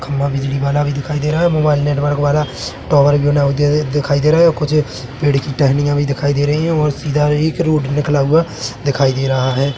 खम्भा बिजली वाला भी दिखाई दे रहा है मोबाईल नेटवर्क वाला टावर भी दिखाई दे रहा है कुछ पेड़ की टहनियाँ भी दिखाई दे रही है और सीधा एक रोड निकला हुआ दिखाई दे रहा है।